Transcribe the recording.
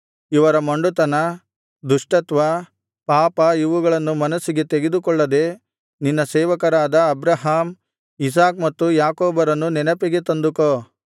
ಇವರ ಮೊಂಡುತನ ದುಷ್ಟತ್ವ ಪಾಪ ಇವುಗಳನ್ನು ಮನಸ್ಸಿಗೆ ತೆಗೆದುಕೊಳ್ಳದೆ ನಿನ್ನ ಸೇವಕರಾದ ಅಬ್ರಹಾಮ್ ಇಸಾಕ್ ಮತ್ತು ಯಾಕೋಬರನ್ನು ನೆನಪಿಗೆ ತಂದುಕೋ